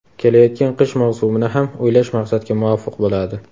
Kelayotgan qish mavsumini ham o‘ylash maqsadga muvofiq bo‘ladi.